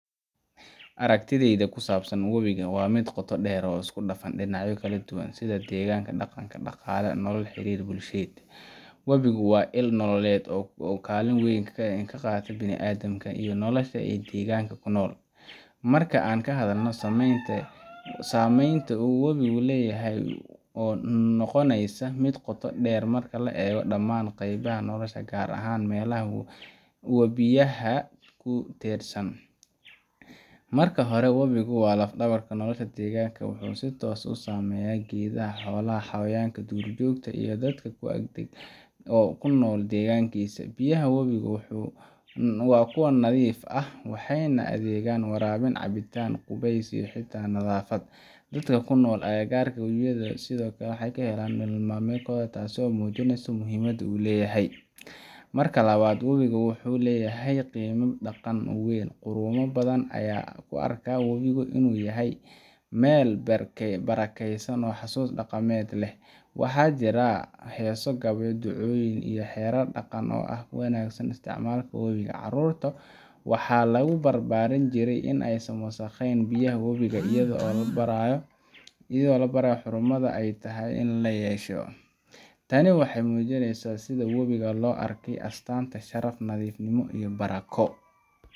Aragtidheyda kusabsan wabiga mid qoto der oo iskudafan dinacyo kala duwan sidha deganka daqanka daqala nolol xirir bulshiyed, wubiga wa il nololed oo kaliningrad weyn kaah kaqata biladamka iyo nolosha ee deganka kunol marka an kahadhalno sameynta uu wabigu leyahay oo noqoneyso mid qoto der marka lagarebo daman qeybaha nolosha garahan melaha wabiyaha kudersan, marka hore wabiga wa lafdabarka tirasha deganka wuxu si tos usameya gedhaha holaha dur jogta ii dadka oo kunol degankisa, biyaha wabiga wa kuwa nadhif ahh waxeyna adhegan warabin, capitan, qubeys iyo hita nadhaafad dadka kunol agagarka wubiga, sidhokle waxey kahelan nolol malimedkodha tas oo mujineysa muhimada uu leyahay, marka labad wubiga wuxu leyahay qima daqan oo weyn, badhan aya kuarka wubiga inu yahay mel barakeysan oo xasus daqamed leh, waxa jira hesoo, gabya, ducoyin iyo herar daqan oo wanagsan yahay isticmalka carurta waxa lagubarbarin jiray in eysan wasaqeyn biyaha wubiga iyadha oo labarahay xurumadha ey tahay in lakeshore, tani waxey mujineysa sisha wabiga loarkay Astana sharafta, nadhifnimo iyoh Bamako.